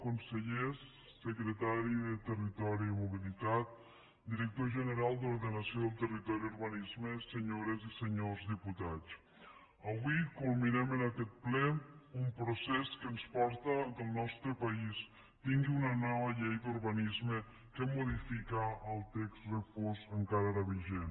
consellers secretari de territori i mobilitat director general d’ordenació del territori i urbanisme senyores i senyors diputats avui culminem en aquest ple un procés que ens porta al fet que el nostre país tingui una nova llei d’urbanisme que modifica el text refós encara vigent